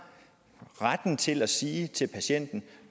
retten til at sige til patienten